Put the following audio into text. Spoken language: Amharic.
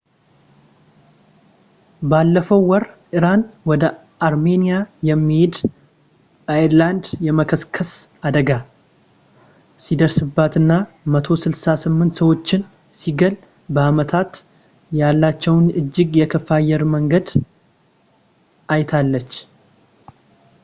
ባለፈው ወር ኢራን ወደ አርሜኒያ የሚሄድ ኤርላይነር የመከስከስ አደጋ ሲደርስበትና 168 ሰዎችን ሲገል በዓመታት ያላየችውን እጅግ የከፋ የአየር አደጋን አይታለች